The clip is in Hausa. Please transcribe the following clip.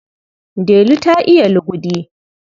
Delu ta iya lugude.